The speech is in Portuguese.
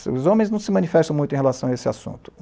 Os homens não se manifestam muito em relação a esse assunto.